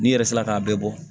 N'i yɛrɛ sera k'a bɛɛ bɔ